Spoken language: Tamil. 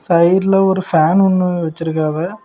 சைடுல ஒரு ஃபேன் ஒன்னு வச்சிருக்காவ.